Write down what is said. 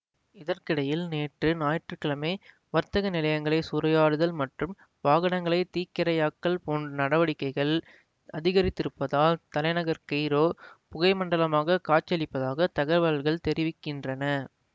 இதற்கிடையில் நேற்று ஞாயிற்று கிழமை வர்த்தக நிலையங்களைச் சூறையாடுதல் மற்றும் வாகனங்களைத் தீக்கிரையாக்கல் போன்ற நடவடிக்கைகள் அதிகரித்திருப்பதால் தலைநகர் கெய்ரோ புகைமண்டலமாகக் காட்சியளிப்பதாகத் தகவல்கள் தெரிவிக்கின்றன